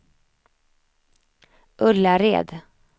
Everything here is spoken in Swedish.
Ullared